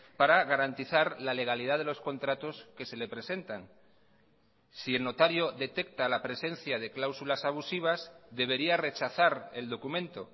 para garantizar la legalidad de los contratos que se le presentan si el notario detecta la presencia de cláusulas abusivas debería rechazar el documento